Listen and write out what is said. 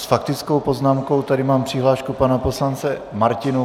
S faktickou poznámkou tady mám přihlášku pana poslance Martinů.